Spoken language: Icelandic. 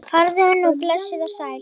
Farðu nú blessuð og sæl.